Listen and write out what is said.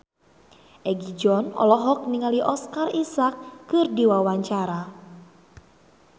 Egi John olohok ningali Oscar Isaac keur diwawancara